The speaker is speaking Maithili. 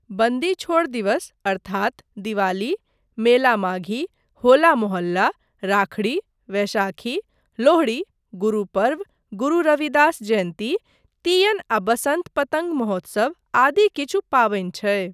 बन्दी छोड़ दिवस अर्थात दिवाली, मेला माघी, होला मोहल्ला, राखड़ी, वैशाखी, लोहड़ी, गुरूपर्व, गुरु रविदास जयन्ती, तीयन आ बसन्त पतङ्ग महोत्सव आदि किछु पाबनि छै।